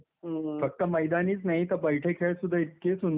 फक्त मैदानीच नाही तर बैठे खेळ सुद्धा इतके सुंदर होते काही काही.